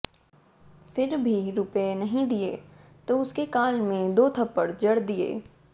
फिर भी रुपए नहीं दिए तो उसके गाल में दो थप्पड़ जड़ दिए